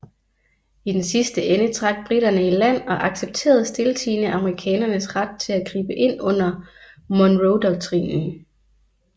I den sidste ende trak briterne i land og accepterede stiltiende amerikanernes ret til at gribe ind under Monroedoktrinen